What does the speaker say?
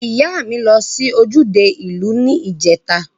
Iya mi lo si ojude iu ni ijeta.